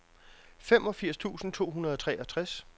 femogfirs tusind to hundrede og treogtres